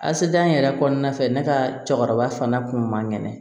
Asidan yɛrɛ kɔnɔna fɛ ne ka cɛkɔrɔba fana kun man kɛnɛ